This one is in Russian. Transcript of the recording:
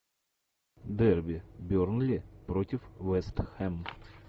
дерби бернли против вест хэм